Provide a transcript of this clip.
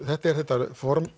þetta er þetta